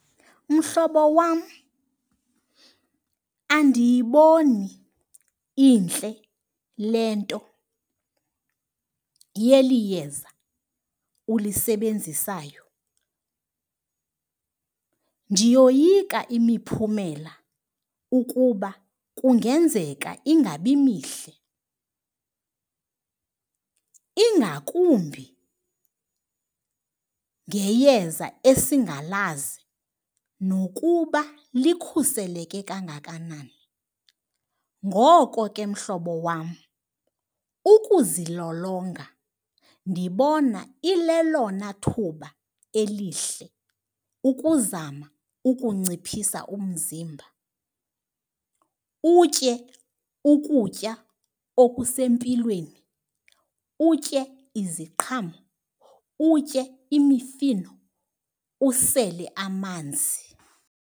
Mhlobo wam, andiyiboni intle le nto yeli yeza ulisebenzisayo. Ndiyoyika imiphumela ukuba kungenzeka ingabi mihle, ingakumbi ngeyeza esingalazi nokuba likhuseleke kangakanani. Ngoko ke mhlobo wam, ukuzilolonga ndibona ilelona thuba elihle ukuzama ukunciphisa umzimba, utye ukutya okusempilweni, utye iziqhamo, utye imifino, usele amanzi.